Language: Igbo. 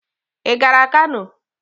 Ị gara Kano?